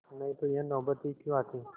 नहीं तो यह नौबत ही क्यों आती